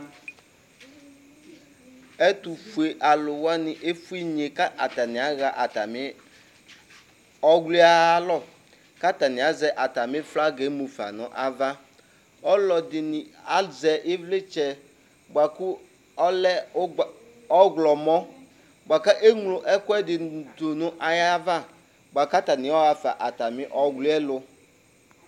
Ɛtʋfue alʋ wani efuinye kʋ atani aɣa atami ɔwli yɛ ayalɔ kʋ atani azɛ atami flagi yɛ mufa nʋ ava Alʋ ɛdini azɛ ivlitsɛ boa kʋ ɔlɛ ʋgba ɔwlɔmɔ boa kʋ eŋlo ɛkʋɛdini dʋ nʋ ayava boa kʋ atani ayɔɣa fa nʋ atami ɔwli yɛ lʋ